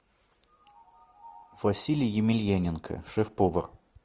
василий емельяненко шеф повар